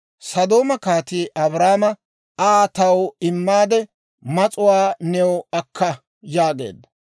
Sodooma kaatii Abraama, «Asaa taw immaade, mas'uwaa new akka» yaageedda.